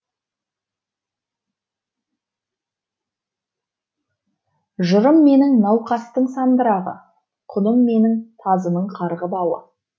жырым менің науқастың сандырағы құным менің тазының қарғы бауы